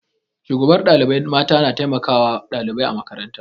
Shugabar ɗalibai mata na taimakawa ɗalibai a makaranta.